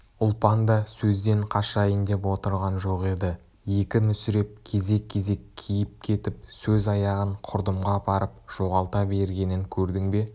ұлпан да сөзден қашайын деп отырған жоқ еді екі мүсіреп кезек-кезек киіп кетіп сөз аяғын құрдымға апарып жоғалта бергенін көрдің бе